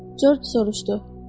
Corc soruşdu.